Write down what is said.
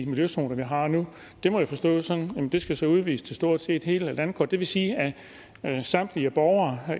miljøzoner vi har nu det må jeg forstå sådan at det så skal udvides til stort set hele landet det vil sige at samtlige borgere